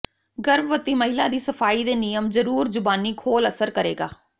ਗਰਭਵਤੀ ਮਹਿਲਾ ਦੀ ਸਫਾਈ ਦੇ ਨਿਯਮ ਜ਼ਰੂਰ ਜ਼ੁਬਾਨੀ ਖੋਲ ਅਸਰ ਕਰੇਗਾ